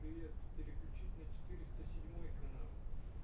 привет переключить на четыреста седьмой канал